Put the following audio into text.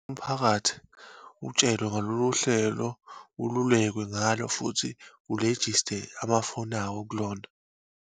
Umphakathi utshelwe ngalolu hlelo, ululekwe ngalo futhi ulejiste amafoni awo kulona.